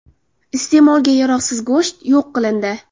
Iste’molga yaroqsiz go‘sht yo‘q qilindi.